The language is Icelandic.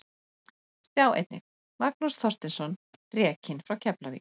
Sjá einnig: Magnús Þorsteinsson rekinn frá Keflavík